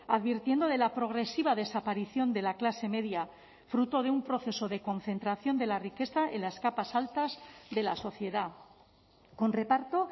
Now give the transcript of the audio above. advirtiendo de la progresiva desaparición de la clase media fruto de un proceso de concentración de la riqueza en las capas altas de la sociedad con reparto